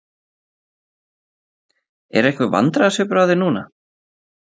Er einhver vandræðasvipur á þér núna?